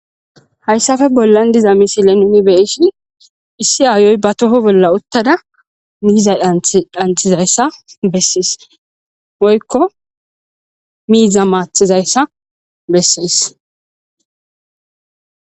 hayssafe bollan diza misile nimi be'ishin issi aayoy ba toho bolla uttada miiza dhanth dhanthizayssa bessees woykko miiza maathizayssa bessees